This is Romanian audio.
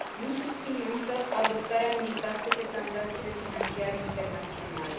Nu susțin, însă, adoptarea unei taxe pe tranzacțiile financiare internaționale.